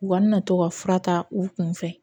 U ka na to ka fura ta u kun fɛ